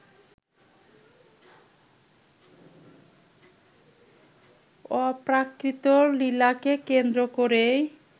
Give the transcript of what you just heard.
অপ্রাকৃত লীলাকে কেন্দ্র করেই